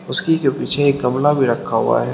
उसकी जो पीछे एक गमला भी रखा हुआ है।